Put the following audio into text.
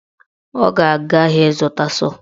Ọ ga-aga ahịa ịzụta sọọ